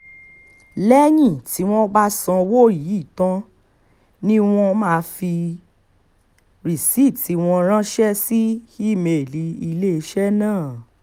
lẹ́yìn tí wọ́n bá sanwó yìí tán ni wọ́n máa fi rìsíìtì wọn ránṣẹ́ sí ìímeèlì iléeṣẹ́ náà